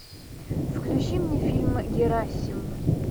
включи мне фильм герасим